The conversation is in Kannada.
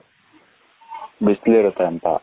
ಬಿಸಿಲು ಇರುತೆ ಅಂತ ,